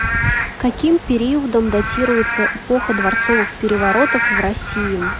каким периодом датируется эпоха дворцовых переворотов в россии